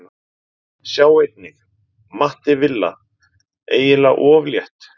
Sjá einnig: Matti Villa: Eiginlega of létt